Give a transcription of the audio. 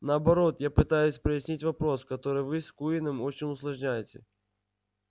наоборот я пытаюсь прояснить вопрос который вы с куинном очень усложняете